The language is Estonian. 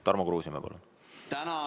Tarmo Kruusimäe, palun!